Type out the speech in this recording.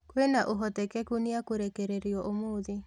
Kwĩna ũhoteteku nĩekũrekererio ũmũthĩ